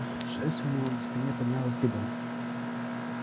шерсть у него на спине поднялась дыбом